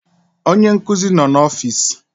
Onye nkuzi noo na ọfịs.